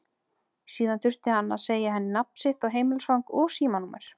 Síðan þurfti hann að segja henni nafn sitt og heimilisfang og símanúmer.